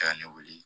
Ka ne weele